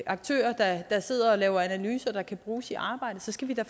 aktører der sidder og laver analyser der kan bruges i arbejdet så skal vi da